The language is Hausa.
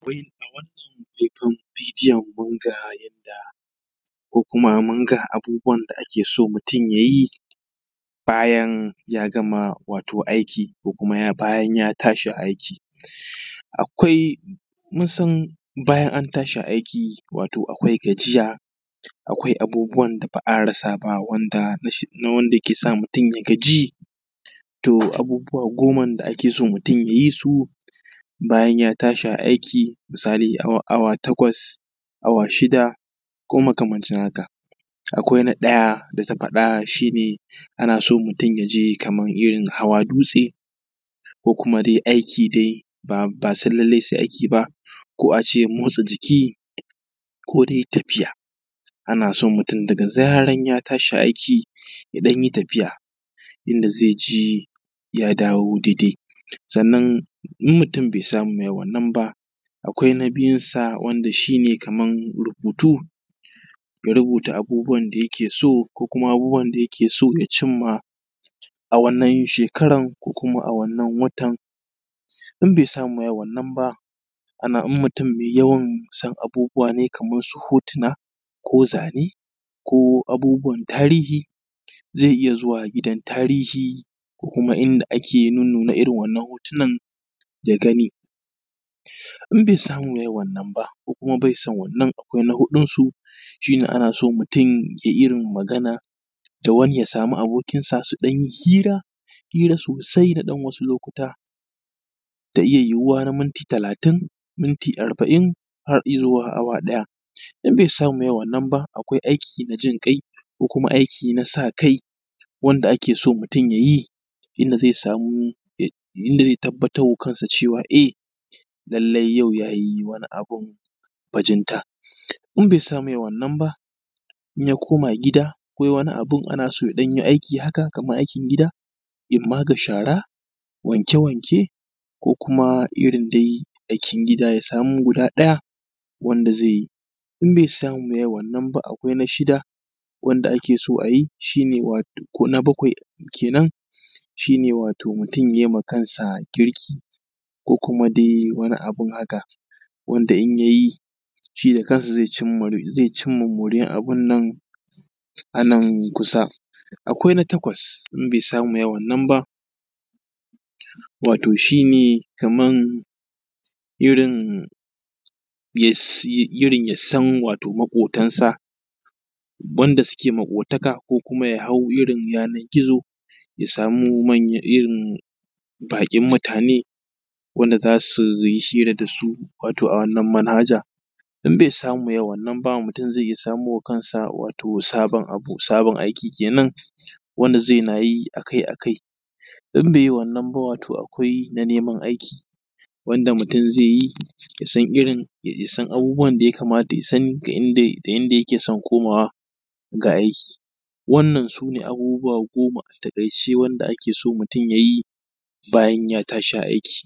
A wannan hoton bidiyon kun ga yadda ko kuma mun ga abubuwan da ake so mutum ya yi bayan ya gama aiki, ko kuma bayan ya tashi aiki. Akwai mun san bayan an tashi aiki akwai gajiya, akwai abubuwan da ba za a rasa ba na wanda ke sa mutun ya gaji. To abubuwa goma da ake so mutun ya yi su bayan ya tashi a aiki. Misali awa takwas, awa shida ko makamancin haka. Akwai na Daya da ta faɗa shi ne ana so mutun ya je kaman irin hawa dutse, ko kuma dai aiki dai ba sai lallai aiki ba ko a ce motsa jiki, ko dai tafiya. Ana so mutun daga zaran ya tashi aiki ya ɗan yi tafiya yanda zai ji ya dawo daidai, sannan in mutun bai samu yayi wannan ba akwai na biyun sa wanda shi ne kaman rubutu, ya rubuta abubuwan da yake so ko kuma abun da yake so ya cimma wa a wannan shekaran, ko a wannan watan, in bai samu ya yi wannan ba in mutun mai yawan san abubuwa ne kaman su hotuna ko zane ko abubuwan tarihi, zai iya zuwa gidan tarihi ko kuma inda ake nuna irin wa'innan hotunan ya gani, in bai samu yayi wannan ba, ko kuma bai son wannan akwai na huɗun shi shi ne ana so mutun ya samu abokin magana da wani ya samu abokin sa su ɗan yi hira, hira sosai na ɗan wani lokutan ta iya yiwuwa na ɗan minti talatin, minti arba’in har izuwa awa ɗaya. In mutun ba zai yi wannan ba akwai aiki na jinƙai ko aiki na sa kai wanda ake so mutun yayi inda zai samu ya tabbatar wa kansa cewa e lallai yau yayi wani abun bajinta. In bai samu ya yi wannan ba in ya koma gida ana so ya ɗan yi aiki haka kaman aikin gida in ma ga shara, wanke wanke ko kuma irin dai aikin gida. Ya samu guda ɗaya wanda zai yi, in bai samu ya yi wannan ba akwai na shida wanda ake so a yi shine wato na bakwai kenan wato mutun ya yi ma kansa girki ko kuma dai wani abu dai haka wanda in yayi da kansa zai cinma moriyan abun nan a nan kusa. Akwai na takwas in bai samu yayi wannan ba wato shi ne kaman irin yasan maƙotansa wanda suke maƙotaka ko kuma su hau irin yanan gizo ya samu irin baƙin mutane wanda za suyi hira da su. Wato a wannan manhaja. In bai samu yayi wannan ba sai samo wa kansa sabon abu, sabon aiki, kenan wanda zai na yi akai akai, in bai yi wannan ba akwai na neman aiki wanda mutun zai yi ya san irin ya san abubuwan da ya kamata da ya sani da inda yake son komawa ga aiki. Wannan su ne abubuwa goma a taƙaice wanda ake son mutun yayi bayan ya tashi aiki.